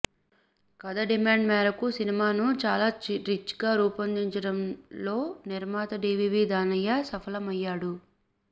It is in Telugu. కథ డిమాండ్ మేరకు సినిమాను చాలా రిచ్గా రూపొందించడంలో నిర్మాత డీవీవీ దానయ్య సఫలమయ్యాడు